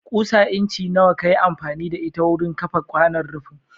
Ƙusa incin nawa ka yi amfani da ita wurin kafa kwanon rufin?